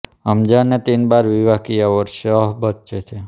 हमज़ा ने तीन बार विवाह किया और छह बच्चे थे